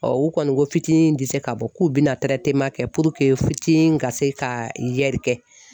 u kɔni ko fitinin ti se k'a bɔ, k'u bɛna kɛ puruke fitinin ka se ka yɛlikɛ.